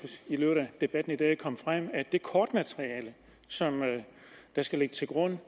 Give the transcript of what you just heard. debatten i dag er kommet frem at det kortmateriale som skal ligge til grund